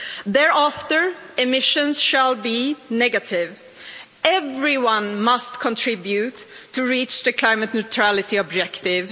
Thereafter, emissions shall be negative. Everyone must contribute to reach the climate neutrality objective.